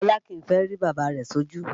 Bọlá kìí fẹ́ rí bàbá rẹ̀ sójú